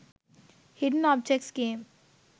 hidden objects game